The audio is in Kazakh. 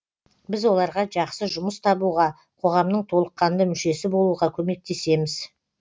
біз оларға жақсы жұмыс табуға қоғамның толыққанды мүшесі болуға көмектесеміз